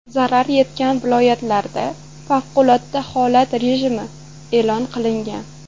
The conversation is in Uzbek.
Zarar yetgan viloyatlarda favqulodda holat rejimi e’lon qilingan.